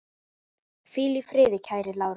Hvíl í friði kæri Lárus.